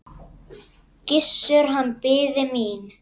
Gissur, hann biði mín.